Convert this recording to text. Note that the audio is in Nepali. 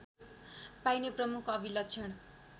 पाइने प्रमुख अभिलक्षण